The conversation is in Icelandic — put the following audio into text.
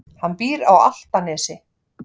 Hann býr á Álftanesi.